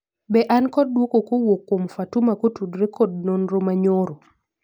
be an kod dwoko kowuok kuom Fatuma kotudore kod nonro mar nyoro